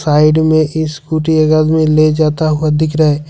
Side में scooty एक आदमी ले जाता हुआ दिख रहा है।